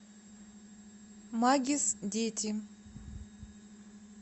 магис дети